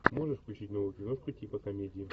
можешь включить новую киношку типа комедии